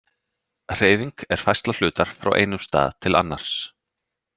Hreyfing er færsla hlutar frá einum stað til annars.